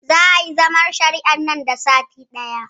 Zaa yayi zaman shari'ar nan da sati ɗaya